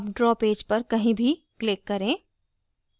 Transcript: अब draw page पर कहीं भी click करें